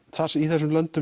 í þessum löndum